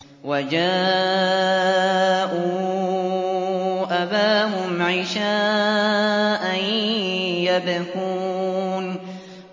وَجَاءُوا أَبَاهُمْ عِشَاءً يَبْكُونَ